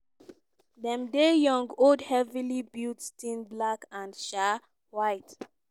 dem dey young old heavily built thin black and um white.